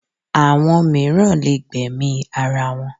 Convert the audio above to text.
Àwọn mìíràn lè gbẹ̀mí ara wọn